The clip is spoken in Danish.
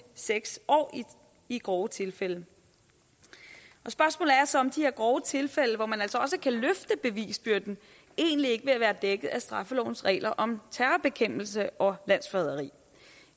seks år i grove tilfælde spørgsmålet er så om de her grove tilfælde hvor man altså også kan løfte bevisbyrden egentlig ikke vil være dækket af straffelovens regler om terrorbekæmpelse og landsforræderi